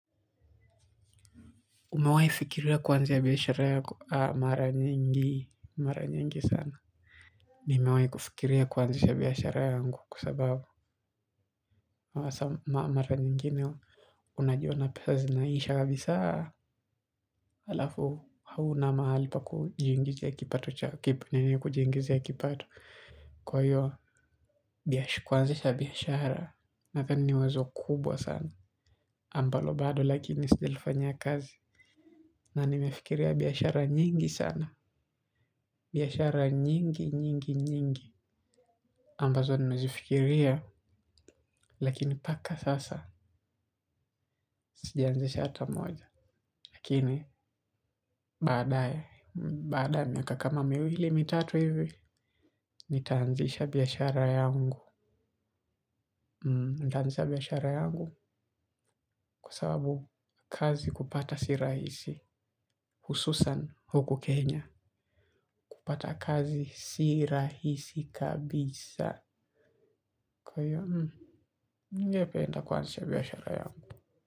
Umewahi fikiria kuanzia biashara yako? Naam mara nyingi mara nyingi sana. Nimewahi kufikiria kuanzisha biashara yangu kwa sababu. Mara nyingine, unajiona pesa zinaisha kabisaa. Alafu hauna mahali pa kujiingizia kipato. Kwa hiyo, kuanzisha biashara, nadhani ni wazo kubwa sana. Ambalo bado lakini sijalifanyia kazi. Na nimefikiria biashara nyingi sana. Biashara nyingi nyingi nyingi ambazo nimezifikiria lakini mpaka sasa zijaanzisha hata moja. Lakini, baadae, baadae miaka kama miwili, mi tatu hivi, nitaanzisha biashara yangu. Nitaanzisha biashara yangu, kwa sababu kazi kupata sirahisi, hususan huku Kenya. Kupata kazi sirahisi kabisa. Kwa hiyo, ningependa kuanzisha biashara yangu.